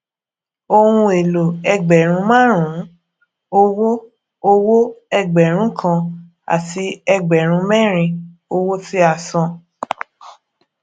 ohùn èlò ẹgbèrún márùnún owó owó ẹgbẹrún kan àti ẹgbèrún mérin owó tí a san